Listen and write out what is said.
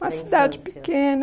na infância... Uma cidade pequena.